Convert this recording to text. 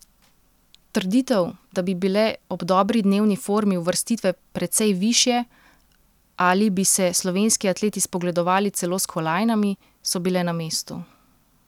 Trditev, da bi bile ob dobri dnevni formi uvrstitve precej višje ali bi se slovenski atleti spogledovali celo s kolajnami, so bile na mestu.